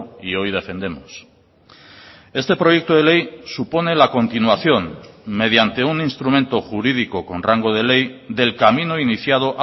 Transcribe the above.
y hoy defendemos este proyecto de ley supone la continuación mediante un instrumento jurídico con rango de ley del camino iniciado